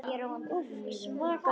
Úff, svaka karl.